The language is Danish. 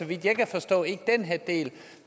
vidt jeg kan forstå ikke af den her del